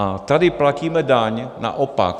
A tady platíme daň naopak.